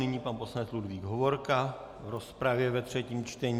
Nyní pan poslanec Ludvík Hovorka k rozpravě ve třetím čtení.